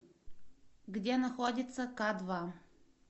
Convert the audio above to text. где находится кадва